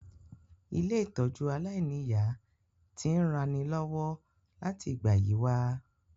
Ilé-ìtójú aláìniya ti n ranilọ́wọ́ láti ìgbà yi wa